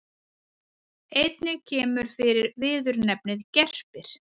Einnig kemur fyrir viðurnefnið gerpir.